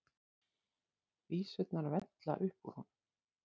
Vísurnar vella upp úr honum.